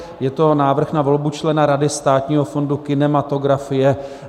Je to Návrh na volbu člena Rady Státního fondu kinematografie.